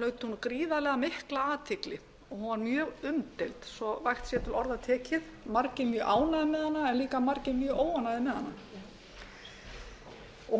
hlaut hún gríðarlega mikla athygli og var mjög umdeild svo vægt sé til orða tekið margir mjög ánægðir með hana en líka margir mjög óánægðir með hana hún